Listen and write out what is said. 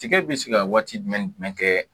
Tiga bi se ka waati jumɛn ni jumɛn kɛ